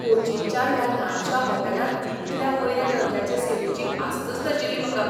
कोचीनच्या ह्या ल्हानशा होटॅलांत इतल्या वयल्या दर्ज्याचे सेवेची आस्तच नाशिल्ली म्हाका.